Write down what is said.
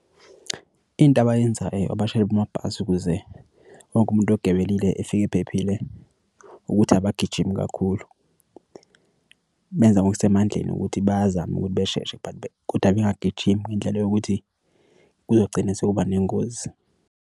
Into abayenzayo abashayeli bamabhasi ukuze wonke umuntu ogibelile efika ephephile ukuthi abagijimi kakhulu, benza ngokusemandleni ukuthi bazame ukuthi besheshe kodwa bengagijimi ngendlela yokuthi kuzogcina sekuba nengozi.